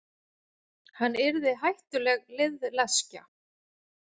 Hann yrði hættuleg liðleskja.